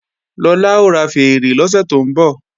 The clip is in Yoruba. Lọlá ó ra fèèrè lọ́sẹ̀ tó ń bọ̀